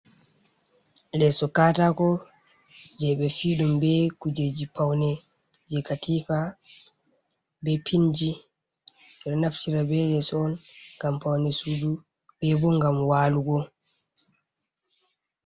Leso katako jei ɓe fi'i ɗum be kujeji paune jei katifa be pinji. Ɓe ɗo naftira be leso on ngam paune sudu be bo ngam walugo.